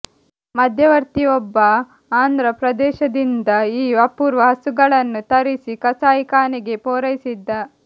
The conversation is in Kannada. ಮಧ್ಯವರ್ತಿಯೊಬ್ಬ ಆಂಧ್ರ ಪ್ರದೇಶದಿಂದ ಈ ಅಪೂರ್ವ ಹಸುಗಳನ್ನು ತರಿಸಿ ಕಸಾಯಿಖಾನೆಗೆ ಪೂರೈಸಿದ್ದ